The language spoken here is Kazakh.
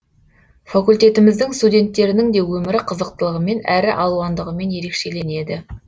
факультетіміздің студенттерінің де өмірі қызықтылығымен әрі алуандығымен ерекшеленеді